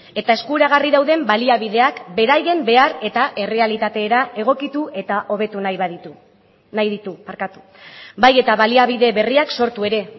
eta eskuragarri dauden baliabideak beraien behar eta errealitatera egokitu eta hobetu nahi baditu nahi ditu barkatu bai eta baliabide berriak sortu ere